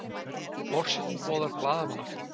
Forsetinn boðar blaðamannafund